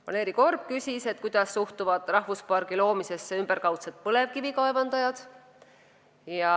Valeri Korb küsis, kuidas suhtuvad rahvuspargi loomisesse ümberkaudsed põlevkivikaevandajad.